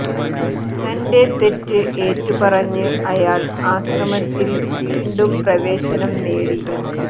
തന്റെ തെറ്റ് ഏറ്റുപറഞ്ഞ് അയാൾ ആശ്രമത്തിൽ വീണ്ടും പ്രവേശനം നേടി